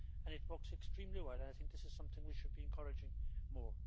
and it works extremely well. I think this is something we should be encouraging more.